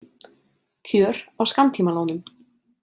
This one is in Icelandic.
Kjör á skammtímalánum.